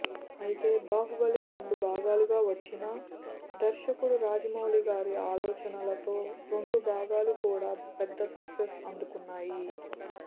అయితే బాహుబలి రెండు భాగాలుగా వచ్చిన దర్శకుడు రాజమౌళి గారి ఆలోచనలతో రెండు భాగాలు కూడా పెద్ద సక్సెస్ అందుకున్నాయి